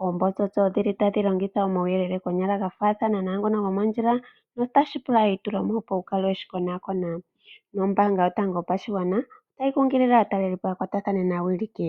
Oombotsosto odhili tadhi longitha omauyelele konyala gafathana nangono gomondjila notashi pula eitulemo opo wukale weshi konakona, nombanga yotango yopashigwana otayi kunkulile aakwashigwana yakwatathane naawiliki.